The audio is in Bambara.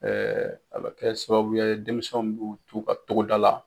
a bɛ kɛ sababuya ye denmisɛnw b'u t'u ka togoda la,